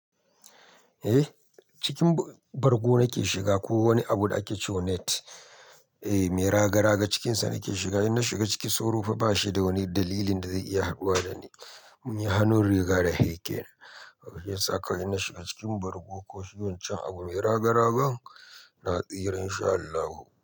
Eh, cikin bargo nake shiga ko wani abu da ake ce wa net, eh me raga raga cikinsa nake shiga. In na shiga ciki soro fa ba shi da wani dalili da zai iya haɗuwa da ni. Mun yi hannun riga da shi kenan, shi ya sa kawai in na shiga cikin bargo ko shigo chikin wan can abu mai raga raga, na tsira insha Allahu.